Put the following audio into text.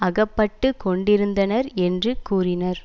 அகப்பட்டு கொண்டிருந்தனர் என்று கூறினர்